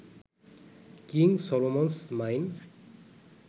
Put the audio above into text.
king Solomon's mine